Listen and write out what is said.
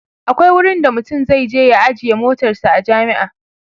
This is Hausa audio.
akwai wurin da mutum zai je ya ajiye motarsa a jami'a